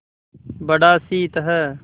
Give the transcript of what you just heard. बड़ा शीत है